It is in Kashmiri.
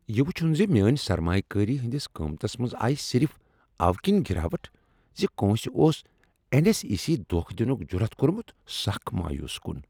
یہِ وُچُھن زِ میٲنۍ سرمایہ کٲری ہٕنٛدس قیمتس منز آیہ صرف اوٕ كِنۍ گراوٹ زِ کٲنٛسہ اوس این ایس ای یس دھوکہ دنُک جُرتھ کورمت، سخ مایوس کُن